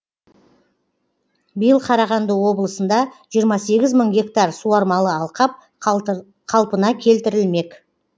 биыл қарағанды облысында жиырма сегіз мың гектар суармалы алқап қалпына келтірілмек